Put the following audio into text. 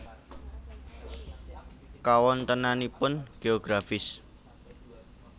Kawontenanipun Geografis